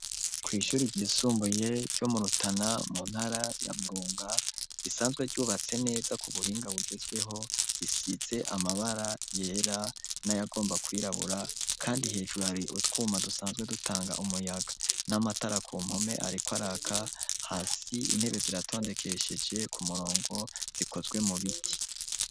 Ku ishuri ryisumbuye ryo mu Rutana mu ntara ya Burunga isanzwe ryubatse neza ku buhinga bugezweho isiZe amabara yera nayagomba kuwirabura kandi hejuru hari utwuma dusanzwe dutanga umuyaga n'amatara ku mpome ariko araka hasi intebe ziratondekesheje ku murongo zikozwe mu biti.